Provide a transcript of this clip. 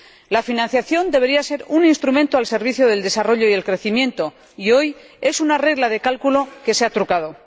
La financiación debería ser un instrumento al servicio del desarrollo y del crecimiento, y hoy es una regla de cálculo que se ha trucado.